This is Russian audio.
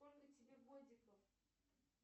сколько тебе годиков